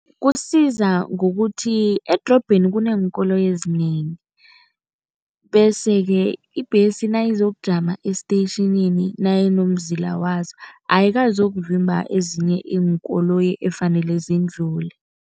Kusiza ngokuthi edorobheni kuneenkoloyi ezinengi bese-ke ibhesi nayizokujama esitetjhinini nayinomzila wazo, ayikazokuvimba ezinye iinkoloyi efanele zindlule.